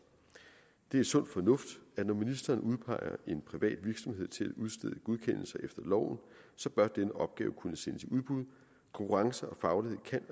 det er sund fornuft at når ministeren udpeger en privat virksomhed til at udstede godkendelser efter loven bør denne opgave kunne sendes i udbud konkurrence og faglighed kan